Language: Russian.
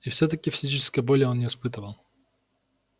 и всё-таки физической боли он не испытывал